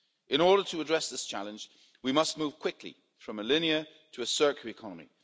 In order to address this challenge, we must move quickly from a linear to a circular economy.